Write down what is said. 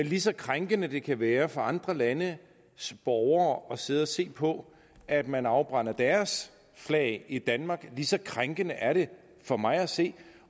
lige så krænkende det kan være for andre landes borgere at sidde og se på at man afbrænder deres flag i danmark lige så krænkende er det for mig at se